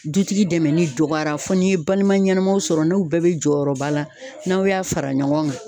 Dutigi dɛmɛni dɔgɔyara fo ni balima ɲɛnɛmaw sɔrɔ ,n'u bɛɛ bɛ jɔyɔrɔba la n'aw y'a fara ɲɔgɔn kan.